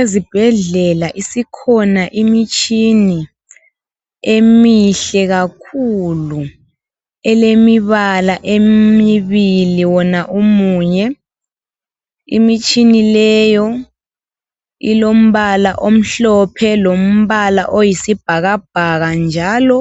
Ezibhedlela isikhona imitshina emihle kakhulu elemibala emibili wona umunye. Imitshina leyo ilombala omhlophe lombala oyisibhakabhaka njalo